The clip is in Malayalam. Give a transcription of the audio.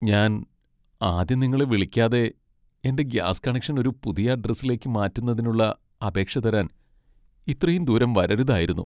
ഞാൻ ആദ്യം നിങ്ങളെ വിളിക്കാതെ എന്റെ ഗ്യാസ് കണക്ഷൻ ഒരു പുതിയ അഡ്രസ്സിലേക്ക് മാറ്റുന്നതിനുള്ള അപേക്ഷ തരാൻ ഇത്രയും ദൂരം വരരുതായിരുന്നു.